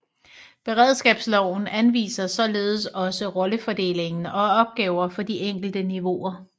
Beredskabsloven anviser således også rollefordelingen og opgaver for de enkelte niveauer